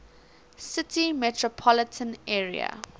city metropolitan area